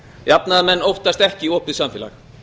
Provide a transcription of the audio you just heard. jafnaðarmenn óttast ekki opið samfélag